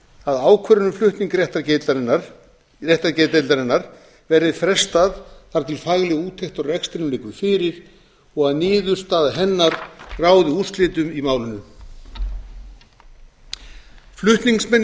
að ákvörðun um flutning réttargeðdeildarinnar verði frestað þar til fagleg úttekt á rekstrinum liggur fyrir og að niðurstaða hennar ráði úrslitum í málinu flutningsmenn